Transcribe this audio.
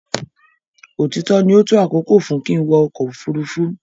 Òtítọ ní o tó àkókò fún kín wọ ọkọ ofurufu.